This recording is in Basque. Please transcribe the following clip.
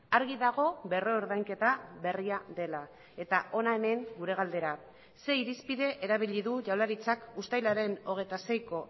argi dago berrordainketa berria dela eta hona hemen gure galdera ze irizpide erabili du jaurlaritzak uztailaren hogeita seiko